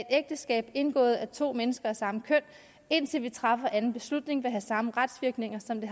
ægteskab indgået af to mennesker af samme køn indtil vi træffer anden beslutning vil have samme retsvirkninger som det